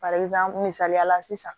misaliya la sisan